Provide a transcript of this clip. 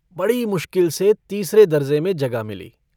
बड़ी मुश्किल से तीसरे दरजे में जगह मिली।